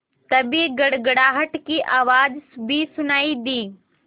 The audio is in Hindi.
तभी गड़गड़ाहट की आवाज़ भी सुनाई दी